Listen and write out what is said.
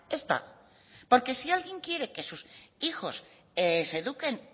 ez da porque si alguien quiere que sus hijos se eduquen